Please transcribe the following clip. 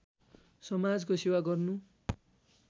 समाजको सेवा गर्नु